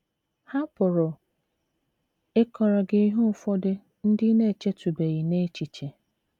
Ha pụrụ ịkọrọ gị ihe ụfọdụ ndị ị na - echetụbeghị n’echiche. ”